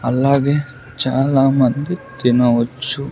అలాగే చాలా మంది తినవచ్చు.